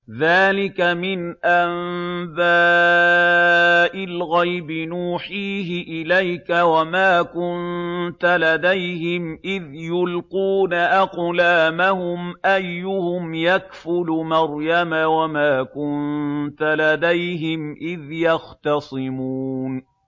ذَٰلِكَ مِنْ أَنبَاءِ الْغَيْبِ نُوحِيهِ إِلَيْكَ ۚ وَمَا كُنتَ لَدَيْهِمْ إِذْ يُلْقُونَ أَقْلَامَهُمْ أَيُّهُمْ يَكْفُلُ مَرْيَمَ وَمَا كُنتَ لَدَيْهِمْ إِذْ يَخْتَصِمُونَ